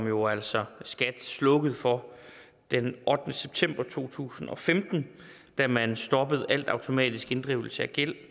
jo altså slukkede for den ottende september to tusind og femten da man stoppede al automatisk inddrivelse af gæld